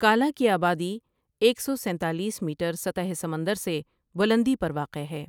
کالا کی آبادی ایک سو ستالیس میٹر سطح سمندر سے بلندی پر واقع ہے۔